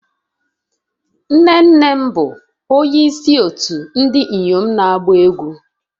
Nne nne m bụ onye isi otu ndị inyom na-agba egwu